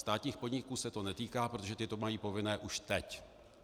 Státních podniků se to netýká, protože ty to mají povinné už teď.